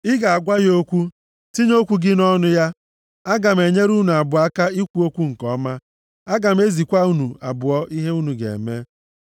Ị ga-agwa ya okwu, tinye okwu gị nʼọnụ ya. Aga m enyere unu abụọ aka ikwu okwu nke ọma, aga m ezikwa unu abụọ ihe unu ga-eme.